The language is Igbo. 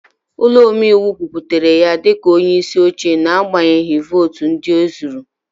Ụlọ omeiwu kwupụtara ya dị ka onyeisi oche n'agbanyeghị votu ndị ezuru